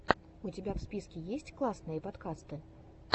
у тебя в списке есть классные подкасты